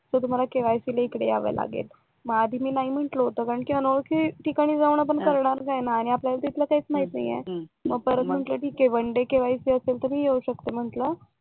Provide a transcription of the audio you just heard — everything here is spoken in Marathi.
तर तुम्हाला केवायसीला इकडे यावं लागेल मग आधी मी नाही म्हंटल होत कारण अनोळखी ठिकाणी आपण जाऊन करणार काय ना आणि आपल्याला तिथलं काहीच माहिती नाही मग परत म्हंटल तिथे वन डे केवायसी असेल तर मी येऊ शकते म्हंटल